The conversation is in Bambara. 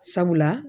Sabula